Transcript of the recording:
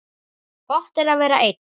Gott er að vera einn.